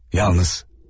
Yalnız.